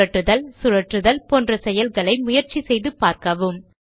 புரட்டுதல் சுழற்றுதல் போன்ற செயல்களை முயற்சி செய்து பாருங்கள்